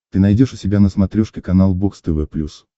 ты найдешь у себя на смотрешке канал бокс тв плюс